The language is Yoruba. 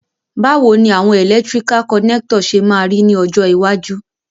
Bàwoni àwon electrical connector se ma ri ni ọjọ́ iwájú?